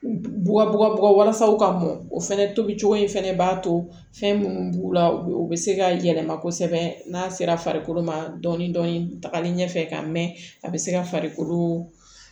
Bubabu ka bɔgɔ walasa ka mɔn o fɛnɛ tobi cogo in fɛnɛ b'a to fɛn munnu b'u la u be se ka yɛlɛma kosɛbɛ n'a sera farikolo ma dɔɔni dɔɔni tagali ɲɛfɛ ka mɛn a be se ka farikolo